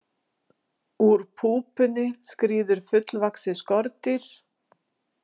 Úr púpunni skríður fullvaxið skordýr.